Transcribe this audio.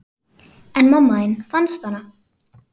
En mamma þín, fannstu hana?